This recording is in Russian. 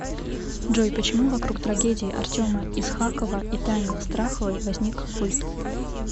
джой почему вокруг трагедии артема исхакова и тани страховой возник культ